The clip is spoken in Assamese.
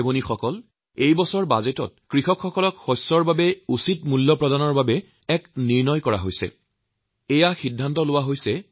ভাইভনীসকল এই বছৰৰ বাজেটত কৃষকসকলৰ শস্যৰ উচিৎ মূল্য দিয়াৰ বাবে এক ডাঙৰ সিদ্ধান্ত লোৱা হৈছে